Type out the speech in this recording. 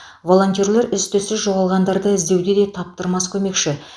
волонтерлер із түзсіз жоғалғандарды іздеуде де таптырмас көмекші